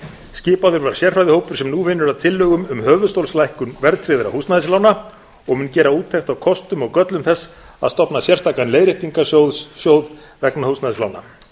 skipaður var sérfræðingahópur sem nú vinnur að tillögum um höfuðstólslækkun verðtryggðra húsnæðislána og mun gera úttekt á kostum og göllum þess að stofna sérstakan leiðréttingarsjóð vegna húsnæðislána